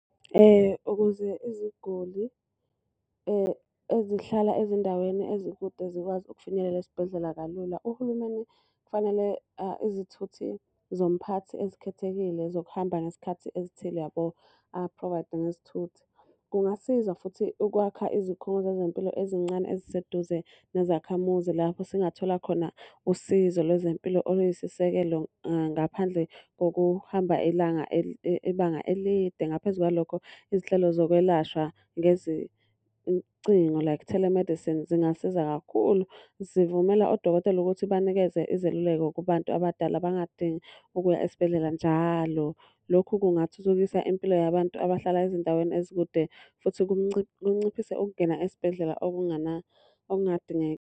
Ukuze iziguli ezihlala ezindaweni ezikude zikwazi ukufinyelela esibhedlela kalula, uhulumeni kufanele izithuthi zomphakathi ezikhethekile zokuhamba ngezikhathi ezithile yabo a-provide ngezithuthi. Kungasiza futhi ukwakha izikhungo zezempilo ezincane eziseduze nezakhamuzi lapho singathola khona usizo lezempilo oluyisisekelo ngaphandle kokuhamba ilanga ibanga elide. Ngaphezu kwalokho, izinhlelo zokwelashwa ngezincingo like telemedicine zingasiza kakhulu. Zivumela odokotela ukuthi banikeze izeluleko kubantu abadala bangadingi ukuya esibhedlela njalo. Lokhu kungathuthukisa impilo yabantu abahlala ezindaweni ezikude futhi kunciphise ukungena esibhedlela .